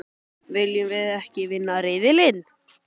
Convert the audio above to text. Viljum við ekki vinna riðilinn?